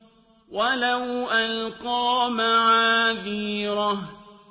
وَلَوْ أَلْقَىٰ مَعَاذِيرَهُ